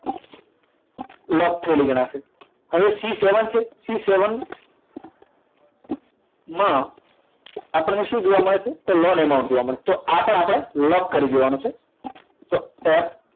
લોક થયેલી ગણાશે હવે c seven છે c seven માં આપણને શું જોવા મળે છે જોવા મળે તો આ પણ આપણે લોક કરી દેવાનું છે તો f